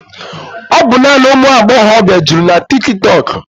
Ọ bụ naanị ụmụ agbọghọbịa juru na tiki tọọk.